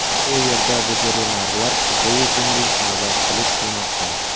U yerda veterinarlar kechayu kunduz navbatchilik qilmoqda.